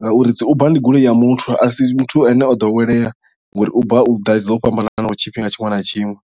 ngauri dzi uber ndi goloi ya muthu a si muthu ane o ḓowelea ngori uber hu ḓa dzo fhambananaho tshifhinga tshiṅwe na tshiṅwe.